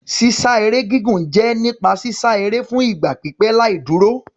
Sísá eré gígùn jẹ́ nípa sísá eré fún ìgbà pípẹ́ láì dúró.